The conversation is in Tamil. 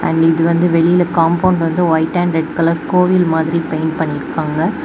அண்ட் இது வந்து வெளில காம்பவுண்ட் வந்து ஒயிட் அண்ட் ரெட் கலர் கோவில் மாதிரி பெயிண்ட் பண்ணிருக்காங்க.